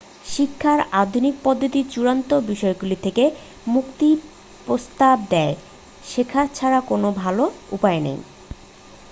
শিক্ষার আধুনিক পদ্ধতি চূড়ান্ত বিষয়গুলি থেকে মুক্তির প্রস্তাব দেয় শেখা ছাড়া কোন ভালো উপায় নেই